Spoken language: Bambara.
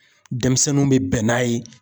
Denmisɛnninw bɛ bɛn n'a ye.